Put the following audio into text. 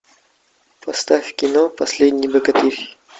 поставь кино последний богатырь